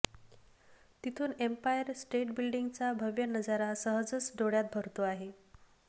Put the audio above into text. तिथून Empire State बिल्डींगचा भव्य नजारा सहजच डोळ्यात भरतो आहे